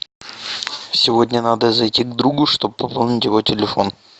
сегодня надо зайти к другу чтоб пополнить его телефон